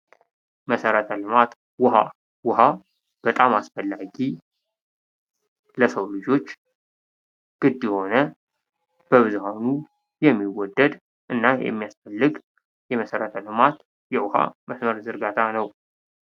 መሰረተ ልማት፦ ዉሀ፦ ውሀ በጣም አስፈላጊ ለሰው ልጆች ግድ የሆን እና የሚያስፈግ እና በብዙሀኑ የሚወደድ የውሀ መሰረተ-ልማት ዝርጋታ ነው።